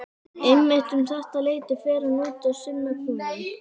Einmitt um þetta leyti fer hann út að sinna kúnum.